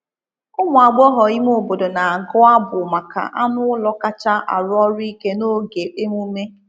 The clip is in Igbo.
Ụmụ agbọghọ ime obodo na-agụ abụ maka anụ ụlọ kacha arụ ọrụ ike n’oge emume.